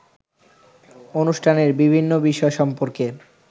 অনুষ্ঠানের বিভিন্ন বিষয় সম্পর্কে